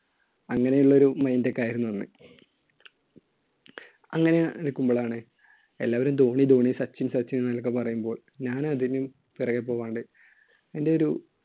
അങ്ങനെയുള്ള ഒരു mind ഒക്കെ ആയിരുന്നു അന്ന്. അങ്ങനെ ഇരിക്കുമ്പോഴാണ് എല്ലാവരും ധോണി, ധോണി സച്ചിൻ, സച്ചിൻ എന്നൊക്കെ പറയുമ്പോൾ ഞാൻ അതിന്‍റെയും പുറകെ പോകാണ്ട് എന്‍റെ ഒരു